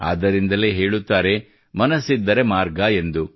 ಆದ್ದರಿಂದಲೇ ಹೇಳುತ್ತಾರೆ ಮನಸ್ಸಿದ್ದರೆ ಮಾರ್ಗ ಎಂದು